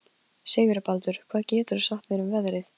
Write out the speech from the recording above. Sigurbaldur, hvað geturðu sagt mér um veðrið?